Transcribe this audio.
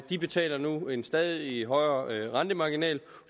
de betaler nu en stadig højere rentemarginal